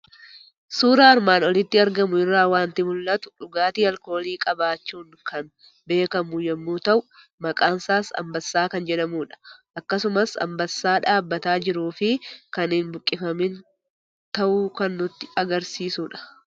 Suuraa armaan olitti argamu irraa waanti mul'atu; dhugaatii alkoolii qabaachuun kan beekamu yommuu ta'u, maqaansaas Anbassa kan jedhamudha. Akkasumas Anbassaa dhaabbataa jiruu fi kan hin buqqifamiin ta'uu kan nutti Agarsiisudha.